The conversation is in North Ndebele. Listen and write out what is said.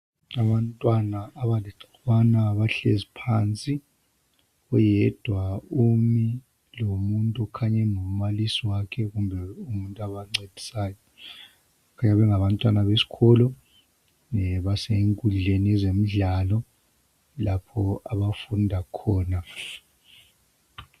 Abantwana abalixhukwana bahlezi phansi oyedwa umi lomuntu okhanya engumbalisi wakhe kumbe umuntu obancedisayo bayabe bengabantwana besikolo basenkudleni yezemidlalo lapho abafunda khona .